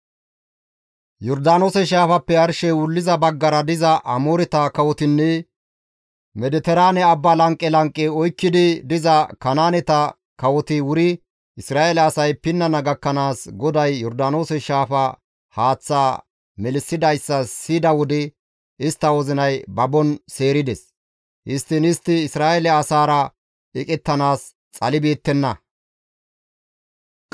Yordaanoose shaafappe arshey wulliza baggara diza Amooreta kawotinne Mediteraane Abba lanqe lanqe oykkidi diza Kanaaneta kawoti wuri Isra7eele asay pinnana gakkanaas GODAY Yordaanoose shaafa haaththaa melissidayssa siyida wode istta wozinay babon seerides. Histtiin istti Isra7eele asaara eqettanaas xalibeettenna.